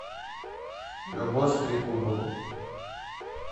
любовь трегубову